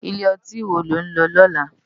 Ilé òtín wó ló n lò lòlá?